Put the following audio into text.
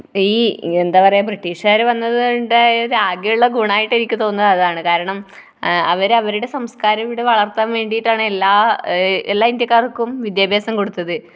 ഈ എന്താ പറയുക, ബ്രിട്ടീഷുകാര് വന്നതുകൊണ്ടുണ്ടായ ആകെയുള്ള ഗുണമായിട്ട് എനിക്ക് തോന്നുന്നത് അതാണ്. കാരണം അവർ അവരുടെ സംസ്‍കാരം ഇവിടെ വളർത്താൻ വേണ്ടിയിട്ടാണ് എല്ലാ, എല്ലാ ഇന്ത്യക്കാർക്കും വിദ്യാഭ്യാസം കൊടുത്തത്.